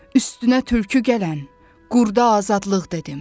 Üstünə tülkü gələn, qurda azadlıq dedim.